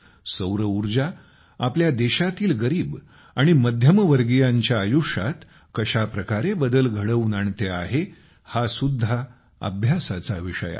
सौरऊर्जा आपल्या देशातील गरीब आणि मध्यमवर्गीयांच्या आयुष्यात कशा प्रकारे बदल घडवून आणते आहे हा सुद्धा अभ्यासाचा विषय आहे